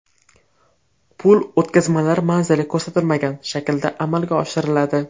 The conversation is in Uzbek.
Pul o‘tkazmalar manzil ko‘rsatilmagan shaklda amalga oshiriladi.